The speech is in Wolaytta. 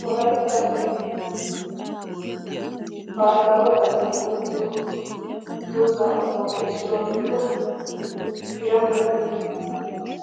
Wolaytta asayi baahilaawe xaliyawu go"ettiyo dozzaa qomnuwappe issuwa gidida hirannoyi